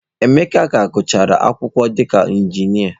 Emeka ka gụchara akwụkwọ dịka Injinia.